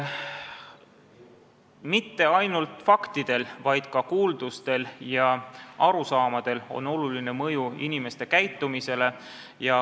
Mitte ainult faktidel, vaid ka kuuldustel ja arusaamadel on oluline mõju inimeste käitumisele.